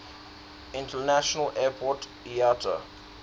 international airport iata